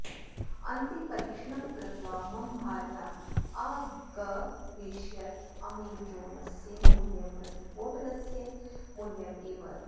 अन्ते परीक्षणं कृत्वा मम भार्या अगवेषयत् अमेजोनस्य मूल्यं प्रतिपोटलस्य मूल्यम् एव अस्ति